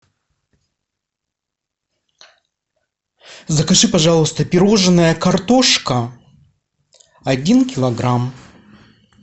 закажи пожалуйста пирожное картошка один килограмм